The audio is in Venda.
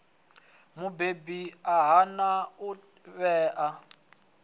mubebi a hana u ṋea